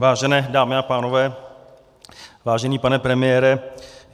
Vážené dámy a pánové, vážený pane premiére.